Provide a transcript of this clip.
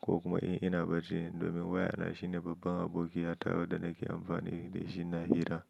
ko kuma in ina bacci domin wayana shine babban abokiya ta wadda nake amfani da shi na hira.